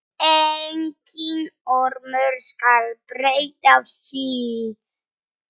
Enginn ormur skal breyta því.